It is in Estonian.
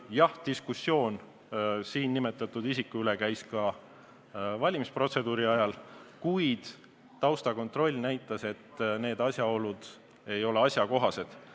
Jah, diskussioon siin nimetatud isiku üle käis ka valimisprotseduuri ajal, kuid taustakontroll näitas, et need asjaolud ei ole asjakohased.